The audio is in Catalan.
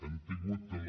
hem tingut la